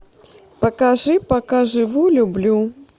покажи пока живу люблю